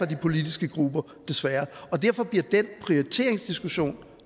de politiske grupper desværre og derfor bliver den prioriteringsdiskussion